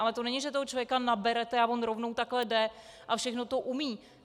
Ale to není, že toho člověka naberete a on rovnou takhle jde a všechno to umí.